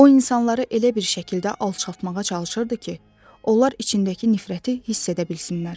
O insanları elə bir şəkildə alçaltmağa çalışırdı ki, onlar içindəki nifrəti hiss edə bilsinlər.